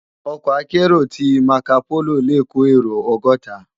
Òkò àkèéró ti màkópóló lé kó éró ògòtá